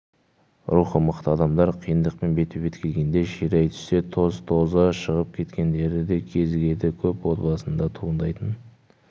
рухы мықты адамдар қиындықпен бетпе-бет келгенде ширай түссе тоз-тозы шығып кеткендері де кезігеді көп отбасында туындайтын